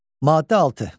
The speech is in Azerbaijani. Maddə 6.